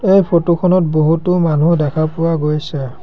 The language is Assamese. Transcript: এই ফটো খনত বহুতো মানুহ দেখা পোৱা গৈছে।